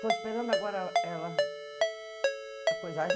Estou esperando agora ela... a coisa.